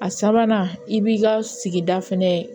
A sabanan i b'i ka sigida fɛnɛ